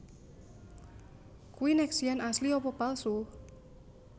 Kui Nexian asli apa palsu